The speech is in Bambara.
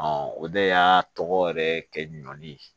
o de y'a tɔgɔ yɛrɛ kɛ ɲɔni